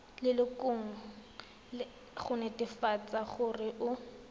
lelokong go netefatsa gore o